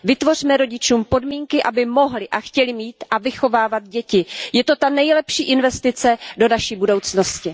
Vytvořme rodičům podmínky, aby mohli a chtěli mít a vychovávat děti. Je to ta nejlepší investice do naší budoucnosti.